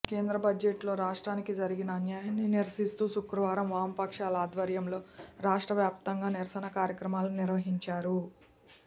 కేంద్ర బడ్జెట్లో రాష్ట్రానికి జరిగిన అన్యాయాన్ని నిరసిస్తూ శుక్రవారం వామపక్షాల ఆధ్వర్యంలో రాష్ట్ర వ్యాప్తంగా నిరసన కార్యక్రమాలు నిర్వహించారు